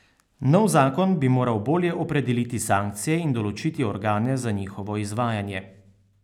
Nov zakon bi moral bolje opredeliti sankcije in določiti organe za njihovo izvajanje.